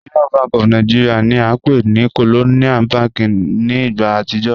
Union Bank of Nigeria ni a npe ni Colonial Bank ni igba atijọ